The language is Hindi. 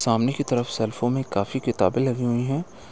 सामने की तरफ सेल्फो में काफ़ी सारी किताबें लगी हुई हैं।